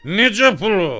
Necə plov?